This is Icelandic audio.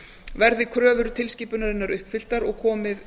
verði kröfur tilskipunarinnar uppfylltar og komið